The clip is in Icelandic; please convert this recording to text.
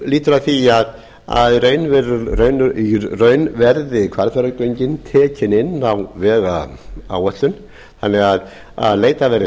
lýtur að því að í raun verði hvalfjarðargöngin tekin inn á vegáætlun þannig að leitað verði